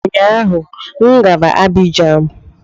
Ụnyaahụ m gara Abijan